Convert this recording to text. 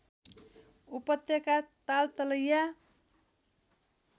उपत्यका तालतलैया